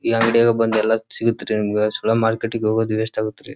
ಈ ಅಂಗಡಿ ಗೆ ಬಂದ್ ಎಲ್ಲ ಸಿಗತ್ ರೀ ನಿಮಗೆ ಸುಮ್ನೆ ಮಾರ್ಕೆಟ್ ಗೆ ಹೋಗೋದು ವೇಸ್ಟ್ ಆಗುತ್ ರೀ.